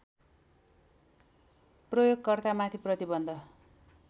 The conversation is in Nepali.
प्रयोगकर्तामाथि प्रतिबन्ध